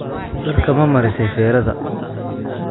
Dharka mamarise ferada?